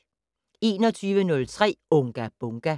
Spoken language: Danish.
21:03: Unga Bunga!